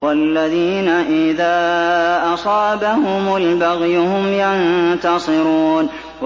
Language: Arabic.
وَالَّذِينَ إِذَا أَصَابَهُمُ الْبَغْيُ هُمْ يَنتَصِرُونَ